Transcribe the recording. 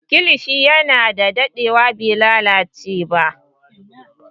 Kilishi yana dadewa bai lalace ba